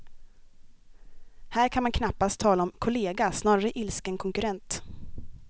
Här kan man knappast tala om kollega, snarare ilsken konkurrent.